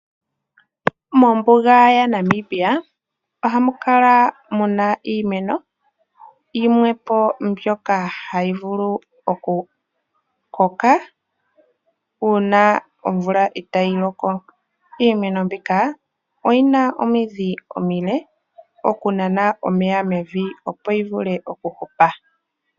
Mombuga yaNamibia ohamu kala mu na iimeno yimwe po mbyoka hayi vulu okukoka uuna omvula itaayi loko. Iimeno mbika oyi na omidhi omile okunana omeya mevi opo yi vule okuhupa.